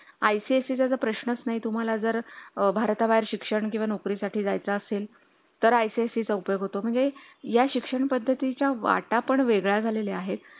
ICSE प्रश्नच नाही. तुम्हाला जर भारताबाहेर शिक्षण किंवा नोकरी साठी जायचे असेल तर ICSE पयोग होतो म्हणजे या शिक्षणपद्धती च्या वाटय़ा पण वेगळे झालेले आहेत